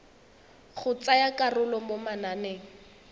go tsaya karolo mo mananeng